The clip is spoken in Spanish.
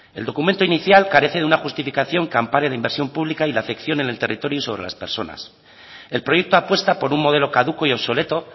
el documento inicial carece de una justificación que ampare la inversión pública y la afección en el territorio y sobre las personas el proyecto apuesta por un modelo caduco y obsoleto